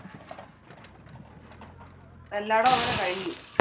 എല്ലാടോം അങ്ങനെ കഴിഞ്ഞു.